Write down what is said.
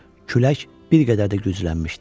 Külək bir qədər də güclənmişdi.